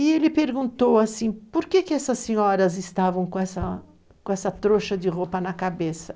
E ele perguntou assim, por que que essas senhoras estavam com essa trouxa de roupa na cabeça?